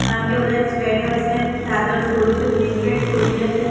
કારણ કે બધાએ સ્વેટર્સ એન્ડ ચાદર્સ ઓઢી છે બ્લેન્કેટસ ઓઢ્યા છે.